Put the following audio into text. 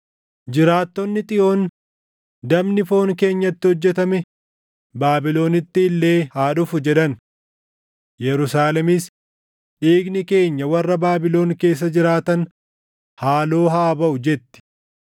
Jiraattonni Xiyoon, “Dabni foon keenyatti hojjetame Baabilonitti illee haa dhufu” jedhan. Yerusaalemis, “Dhiigni keenya warra Baabilon keessa jiraatan haaloo haa baʼu” jetti.